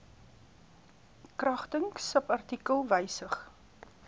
kragtens subartikel wysig